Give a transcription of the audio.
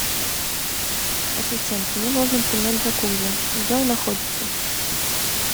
ассистент мне нужно принять джакузи где он находится